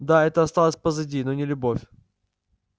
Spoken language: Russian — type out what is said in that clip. да это осталось позади но не любовь